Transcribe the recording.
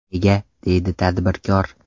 Nega?” deydi tadbirkor.